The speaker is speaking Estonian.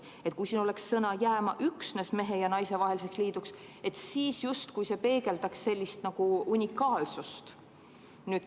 Kui siin oleks vahel sõna "üksnes", see tähendab "jääma üksnes mehe ja naise vaheliseks liiduks", siis see justkui peegeldaks nagu unikaalsust.